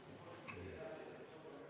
EKRE fraktsiooni võetud vaheaeg on lõppenud.